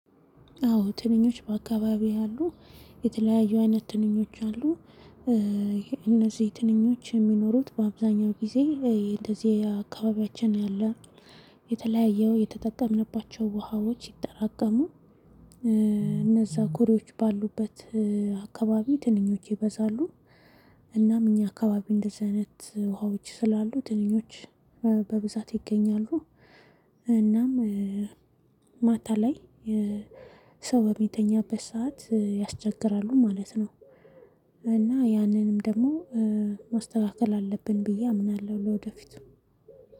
አዎ ትንሽ በአካባቢዬ ያሉ የተለያዩ አይነት ትንኞች አሉ። እነዚህ ትንኞች የሚኖሩት በአብዛኛው ጊዜ እንደዚህ አካባቢያችን ያለ የተለያየ የተጠቀምንባቸው ውሃዎች ይጠራቀሙ እነዛ ኩሪዎች ባሉበት አካባቢ ትንኞች ይበዛሉ። እናም እኛ አካባቢ እንደዚህ አይነት ውሃዎች ስላሉ ትንኞች በብዛት ይገኛሉ። እናም ማታ ላይ ሰው በሚተኛበት ሰዓት ያስቸግራሉ ማለት ነው። እና ያንንም ደግሞ ማስተካከል አለብን ብዬ አምናለሁ ለወደፊቱ